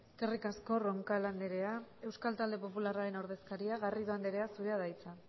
eskerrik asko roncal anderea euskal talde popularraren ordezkaria garrido anderea zurea da hitza